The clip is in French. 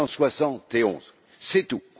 171. C'est tout.